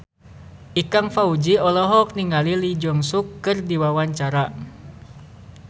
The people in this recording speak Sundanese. Ikang Fawzi olohok ningali Lee Jeong Suk keur diwawancara